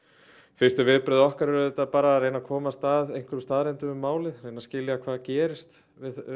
fyrstu viðbrögð okkar eru að reyna að komast að einhverjum staðreyndum í málinu reyna að skilja hvað gerðist við